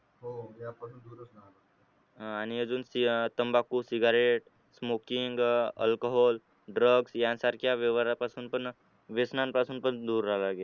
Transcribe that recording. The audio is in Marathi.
अं आणि अजून तंबाखू cigarettesmokingalchoholdrug यासारख्या व्यवहारांपासून पण व्यसनांपासून पण दूर राहावं लागेल